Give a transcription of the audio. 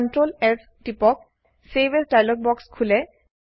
CTRL S টিপক save as dialog বাক্স খোলে